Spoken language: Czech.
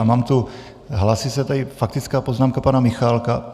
A mám tu... hlásí se tady faktická poznámka pana Michálka.